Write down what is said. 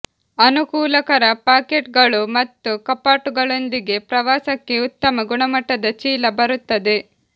ಅನುಕೂಲಕರ ಪಾಕೆಟ್ಗಳು ಮತ್ತು ಕಪಾಟುಗಳೊಂದಿಗೆ ಪ್ರವಾಸಕ್ಕೆ ಉತ್ತಮ ಗುಣಮಟ್ಟದ ಚೀಲ ಬರುತ್ತದೆ